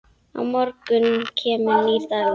Á morgun kemur nýr dagur.